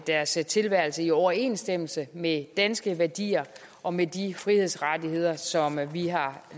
deres tilværelse i overensstemmelse med danske værdier og med de frihedsrettigheder som vi har